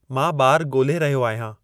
मां बारु ॻोल्हे रहियो/रही आहियां